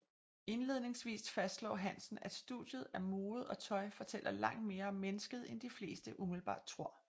Indledningsvist fastslår Hansen at studiet af mode og tøj fortæller langt mere om mennesket end de fleste umiddelbart tror